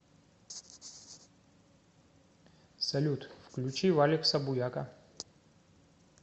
салют включи валекса буяка